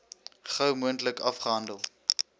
gou moontlik afgehandel